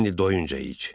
İndi doyuncaya iç.